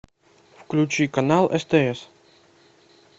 включи канал стс